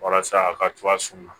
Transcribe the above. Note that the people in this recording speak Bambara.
Walasa a ka cogoya sun na